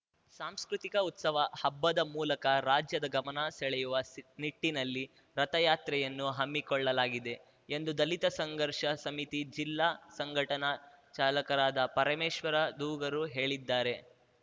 ಸಾಂಸ್ಕೃತಿಕ ಉತ್ಸವ ಹಬ್ಬದ ಮೂಲಕ ರಾಜ್ಯದ ಗಮನ ಸೆಳೆಯುವ ಸ್ ನಿಟ್ಟಿನಲ್ಲಿ ರಥಯಾತ್ರೆಯನ್ನು ಹಮ್ಮಿಕೊಳ್ಳಲಾಗಿದೆ ಎಂದು ದಲಿತ ಸಂಘರ್ಷ ಸಮಿತಿ ಜಿಲ್ಲಾ ಸಂಘಟನಾ ಚಾಲಕರಾದ ಪರಮೇಶ್ವರ ದೂಗರು ಹೇಳಿದರು